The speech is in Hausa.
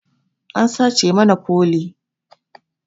An sace mana fole